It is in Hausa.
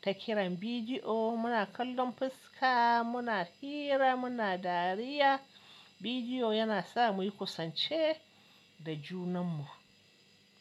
ta kiran bidiyo, mu na kallon fuska, mu na hira, mu na dariya. Bidiyo ya na sa mu yi kusance da junan mu.